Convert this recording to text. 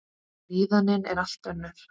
Líðanin er allt önnur.